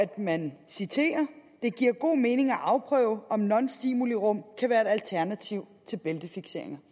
man citerer det giver god mening at afprøve om nonstimulirum kan være et alternativ til bæltefiksering